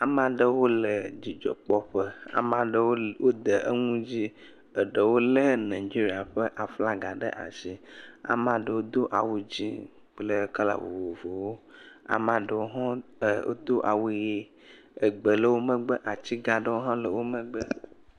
Amea ɖewo le dzidzɔkpɔƒe, amea ɖewo wode nu dzi, eɖewo lé Nigeria ƒe aflaga ɖe asi, amea ɖewo do awu dzɛ̃ kple kala vovovowo, amea ɖewo hã wodo awu ʋe, egbe le wo megbe, ati gã aɖewo hã wo megbe.